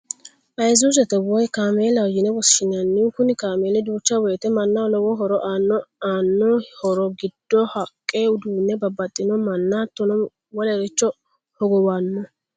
Ayisuuzete woyi kaameellaho yine woshinanni, kuni kaameeli duucha woyite manaho lowo horo aanno aano horo gido haqqr uduune babaxinoha, mana hattono wolericho hogowano